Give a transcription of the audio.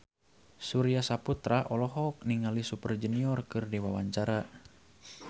Surya Saputra olohok ningali Super Junior keur diwawancara